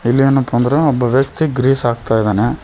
ಇಲ್ಲಿ ಏನಪ್ಪಾ ಅಂದ್ರ ಒಬ್ಬ ವ್ಯಕ್ತಿ ಗ್ರೀಸ್ ಅಕ್ತಾ ಇದಾನೆ.